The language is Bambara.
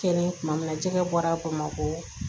Kɛlen tuma min na jɛgɛ bɔra bamakɔ